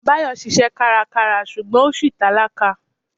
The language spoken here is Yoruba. Báyọ̀ ṣiṣẹ́ kárakára ṣùgbọ́n ó ṣì tálákà.